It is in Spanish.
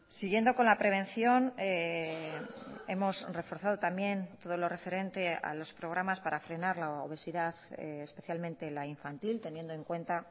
siguiendo con la prevención hemos reforzado también todo lo referente a los programas para frenar la obesidad especialmente la infantil teniendo en cuenta